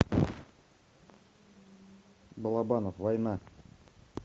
балабанов война